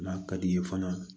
N'a ka di ye fana